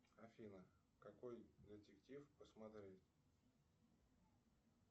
афина какой детектив посмотреть